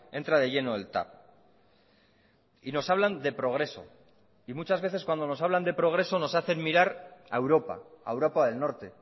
entra de lleno el tav y nos hablan de progreso y muchas veces cuando nos hablan de progreso nos hacen mirar a europa a europa del norte